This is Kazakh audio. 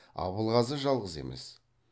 абылғазы жалғыз емес